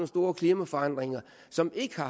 store klimaforandringer som ikke